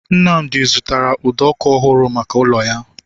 Nnamdi zụtara ụdọ ọkụ ọhụrụ maka ụlọ ya